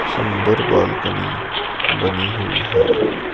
सुंदर बालकनी बनी हुई है।